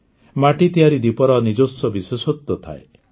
ମାଟି ତିଆରି ଦୀପର ନିଜସ୍ୱ ବିଶେଷତ୍ୱ ଥାଏ